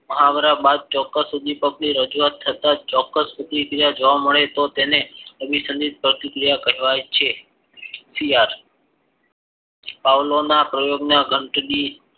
મહાવરા બાદ ચોક્કસ ઉદ્વિપકની રજુવાત થતા ચોક્કસ પ્રતિક્રિયા જોવા મળે તો તેને અભિસંદિત પ્રતિક્રિયા કહેવાય છે પાવલાવના પ્રયોગ ના ઘંટડી